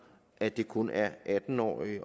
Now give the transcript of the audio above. at det kun er atten årige